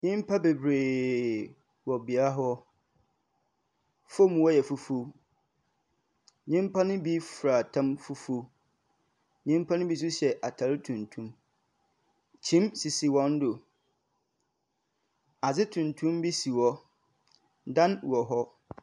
Nnipa bebree wɔ bea hɔ, fɔm hɔ yɛ fufuo. Nnipa no bi fira ɛtam fufuo, nnipa bi nso hyɛ ataade tuntum. Kyiniiɛ sisi wɔn do, ade tuntum bi si hɔ, dan wɔ hɔ.